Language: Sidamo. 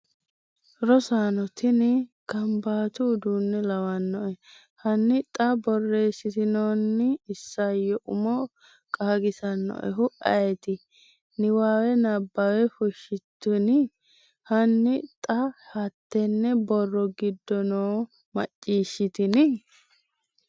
Rosaano, tini kaanbatu uddine lawanoe hanni xa borreessitinoonni isayyo umo qaagissannoehu ayeeti? Niwaawe Nabbawa Fushshitinni? Hanni xa hattenne borro giddo noo Macciishshitini?